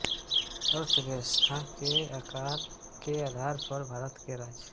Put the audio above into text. अर्थव्यवस्था के आकार के आधार पर भारत के राज्य